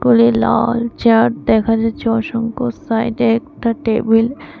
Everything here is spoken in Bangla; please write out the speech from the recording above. লাল চেয়ার দেখা যাচ্ছে অসংখ্য সাইডে একটা টেবিল --